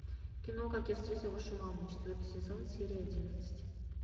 кино как я встретил вашу маму четвертый сезон серия одиннадцать